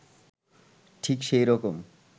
ঠিক সেই রকম